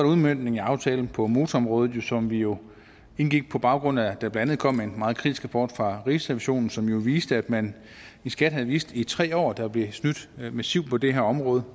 udmøntningen af aftalen på motorområdet som vi jo indgik på baggrund af at der blandt andet kom en meget kritisk rapport fra rigsrevisionen som jo viste at man i skat havde vidst i tre år at der blev snydt massivt på det her område